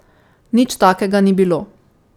Nič takega ni bilo.